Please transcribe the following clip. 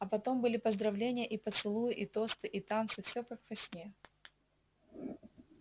а потом были поздравления и поцелуи и тосты и танцы всё как во сне